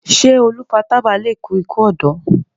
ṣe olu fà tábà lẹ kú iku ọdọ?